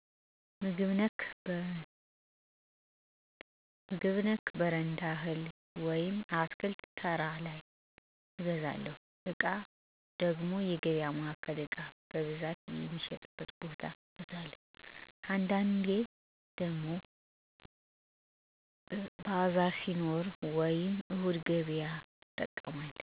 - ምግብ ነክ በረንዳ እህል ወይም አትክልት ተራ ላይ እገዛለሁ። - ዕቃ ደሞ የገበያ ማዕከል ዕቃ በብዛት ሚሸጥበት ቦታ እገዛለሁ። - አንዳንዴ ደሞ ባዛር ሲኖር ወይም እሁድ ገበያዎችን እጠቀማለሁ።